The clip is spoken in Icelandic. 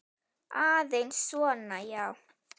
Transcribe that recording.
Aðeins svona, já.